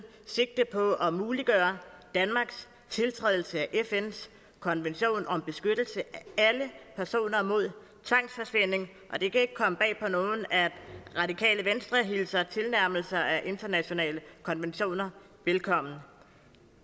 sigte på at muliggøre danmarks tiltrædelse af fns konvention om beskyttelse af alle personer mod tvangsforsvinding og det kan ikke komme bag på nogen at radikale venstre hilser tilnærmelser af internationale konventioner velkommen